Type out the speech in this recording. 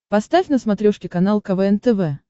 поставь на смотрешке канал квн тв